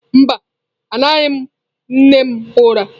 Mba, amaghị m nne m ụra.